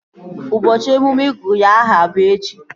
Ụbọchị emume ịgụ ya aha bụ echi